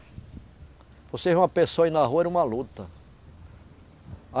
Para você ver uma pessoa aí na rua, era uma luta.